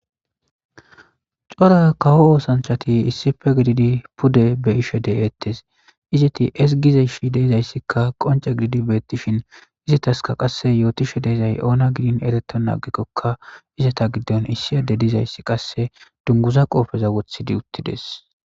cora kawo oosanchati issife gididi pude bey ishe de'eettes. izeti esgizeshi deezayssikka qoncce gididi beettishin izataska qasse yootishe diizay oona gidin erettonna agikkokka izata giddon issi adey dizayssi qasse dungguza qoofeza wothidi uttides.